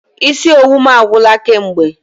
Isi owu m agwụla kamgbe.